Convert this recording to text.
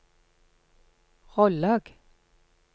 Rollag